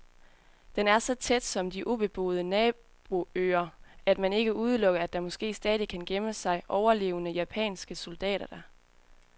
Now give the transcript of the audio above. Den er så tæt, som på de ubeboede naboøer, at man ikke udelukker, at der måske stadig kan gemme sig overlevende japanske soldater der.